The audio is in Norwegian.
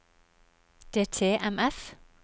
DTMF